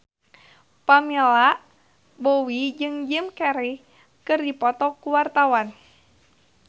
Pamela Bowie jeung Jim Carey keur dipoto ku wartawan